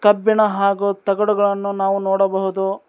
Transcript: ಕಬ್ಬಿಣ ಹಾಗೂ ತಗಡುಗಳನ್ನು ನಾವು ನೋಡಬಹುದು.